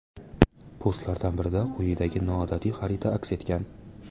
Postlardan birida quyidagi noodatiy xarita aks etgan.